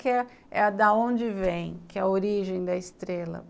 Quer é a da onde vem, que é a origem da estrela.